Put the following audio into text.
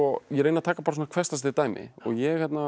ég reyni að taka hversdagsleg dæmi og ég